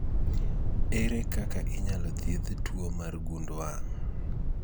Ere kaka inyalo thiedh tuo mar gund wang'?